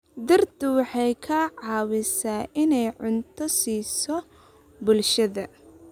Dhirtu waxay ka caawisaa inay cunto siiso bulshada.